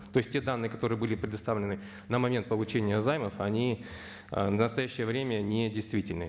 то есть те данные которые были предоставлены на момент получения займов они ы в настоящее время не действительны